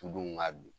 Tudenw ŋaa bi